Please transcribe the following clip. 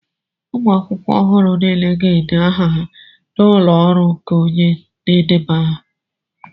ụmụ akwụkwọ ọhụrụ niile ga-ede aha ha n'ụlọ ọrụ nke onye na-edeba aha